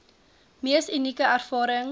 mees unieke ervaring